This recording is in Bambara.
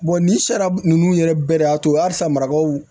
nin sariya ninnu yɛrɛ bɛɛ de y'a to halisa marakaw